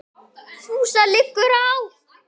FÚSA LIGGUR Á